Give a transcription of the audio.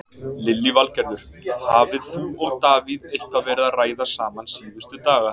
Lillý Valgerður: Hafið þú og Davíð eitthvað verið að ræða saman síðustu daga?